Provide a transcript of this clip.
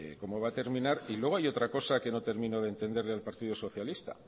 cómo va a terminar luego hay otra cosa que no termino de entender del partido socialista